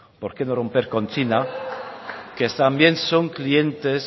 por qué no romper con china que también son clientes